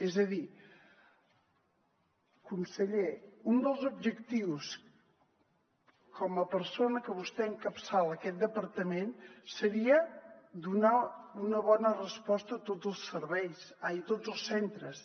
és a dir conseller un dels objectius com a persona que encapçala aquest departament seria donar una bona resposta a tots els centres